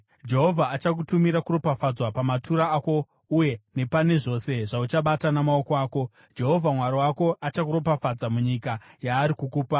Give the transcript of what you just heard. Jehovha achakutumira kuropafadzwa pamatura ako uye nepane zvose zvauchabata namaoko ako. Jehovha Mwari wako achakuropafadza munyika yaari kukupa.